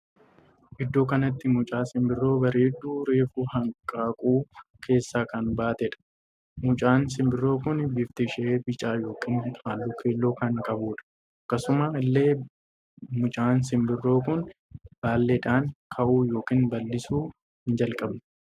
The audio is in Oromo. Iddoo kanatti mucaa sinbirroo bareedduu reefuu hanqaaquu keessaa kan baateedha. mucaan sinbirroo kun bifti ishee bicaa ykn halluu keelloo kan qabduudha. akkasuma illee mucaan sinbirroo kun baalleedhan ka'uu ykn ballisuu hin jalqabne.